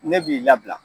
Ne b'i labila